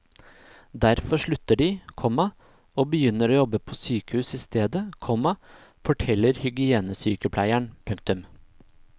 Derfor slutter de, komma og begynner å jobbe på sykehus i stedet, komma forteller hygienesykepleieren. punktum